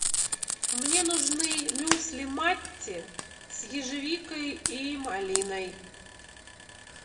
мне нужны мюсли матти с ежевикой и малиной